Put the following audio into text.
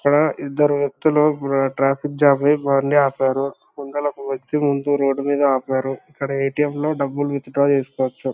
ఇక్కడ ఇద్దరు వ్యక్తులు వ్ర ట్రాఫిక్ జాం ని ఆపారు ముందలకు వచ్చి ముందు రోడ్ మీద ఆపరు ఇక్కడ ఎటిఎం లో డబ్బులు విత్ డ్రా చేస్కోవచ్చు.